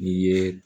N'i ye